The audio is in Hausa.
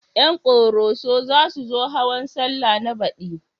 Ƴan ƙoroso za su zo hawan sallah na baɗi